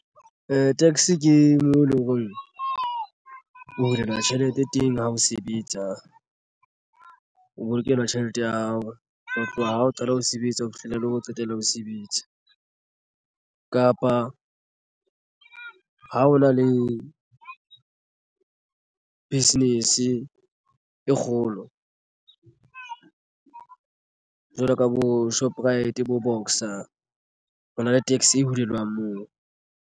Tax ke moo eleng hore o hulelwa tjhelete teng ha o sebetsa o bolokelwa tjhelete ya hao ho tloha ho qala ho sebetsa ho fihlela la ho qetela ho sebetsa kapa ha hona le business e kgolo jwalo ka bo Shoprite bo Boxer Ho na le tax e hulelwang moo.